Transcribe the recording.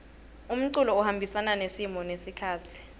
umculo uhambisana nesimo nesikhatsi